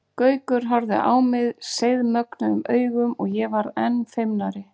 Gaukur horfði á mig seiðmögnuðum augum og ég varð enn feimnari.